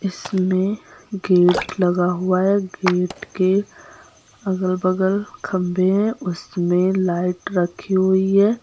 इसमें गेट लगा हुआ है। गेट के अगल-बगल खंबे हैं उसमें लाइट रखी हुई है।